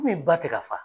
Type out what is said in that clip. Min ba tɛ ka fa